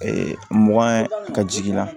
mugan ka jigin